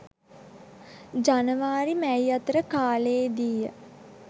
ජනවාරි මැයි අතර කාලයේදීය.